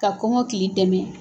Ka kɔngɔkili dɛmɛ.